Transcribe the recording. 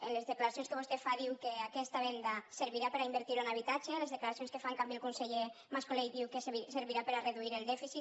en les declaracions que vostè fa diu que aquesta venda servirà per a invertir ho en habitatge en les declaracions que fa en canvi el conseller mascolell diu que servirà per a reduir el dèficit